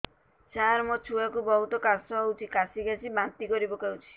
ସାର ମୋ ଛୁଆ କୁ ବହୁତ କାଶ ହଉଛି କାସି କାସି ବାନ୍ତି କରି ପକାଉଛି